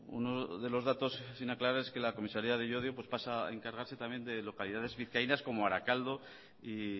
uno de los datos sin aclarar es que la comisaria de llodio pasa a encargarse también de localidades vizcaínas como arakaldo y